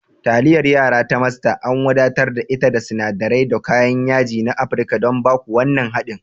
Taliyar yara ta Master an wadatar da ita da sinadirai da kayan yaji na Afirka don ba ku wannan daɗin.